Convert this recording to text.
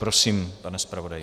Prosím, pane zpravodaji.